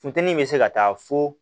Funteni bɛ se ka taa fo